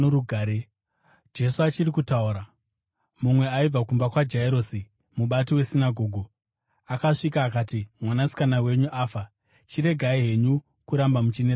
Jesu achiri kutaura, mumwe aibva kumba kwaJairosi, mubati wesinagoge, akasvika akati, “Mwanasikana wenyu afa. Chiregai henyu kuramba muchinetsa mudzidzisi.”